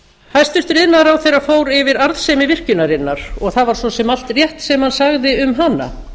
hæstvirtur iðnaðarráðherra fór yfir arðsemi virkjunarinnar og það var svo sem allt rétt sem hann sagði um hana